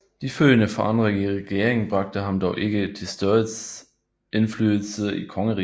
De følgende forandringer i regeringen bragte ham dog ikke til større indflydelse i kongeriget